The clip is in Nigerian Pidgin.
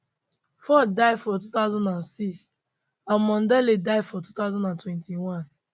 ford die for 2006 and mondale die for 2021